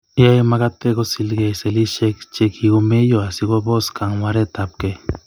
Yoe magate kosilkei sellishek che kikomeyo asikobos kangwaretab kei